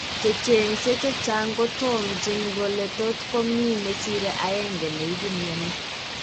Checheng'see chechang' kotomchin kole totkomii nesire aenge neibu mioni